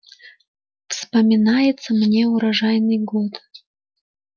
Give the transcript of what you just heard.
вспоминается мне урожайный год